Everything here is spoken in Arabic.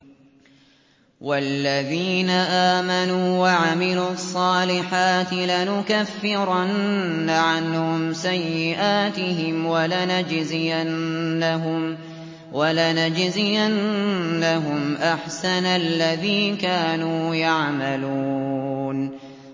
وَالَّذِينَ آمَنُوا وَعَمِلُوا الصَّالِحَاتِ لَنُكَفِّرَنَّ عَنْهُمْ سَيِّئَاتِهِمْ وَلَنَجْزِيَنَّهُمْ أَحْسَنَ الَّذِي كَانُوا يَعْمَلُونَ